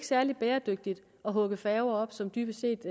særlig bæredygtigt at ophugge færger som dybest set